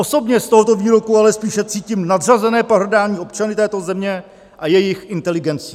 Osobně z tohoto výroku ale spíše cítím nadřazené pohrdání občany této země a jejich inteligencí.